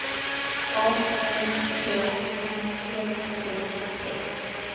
A N K O M S T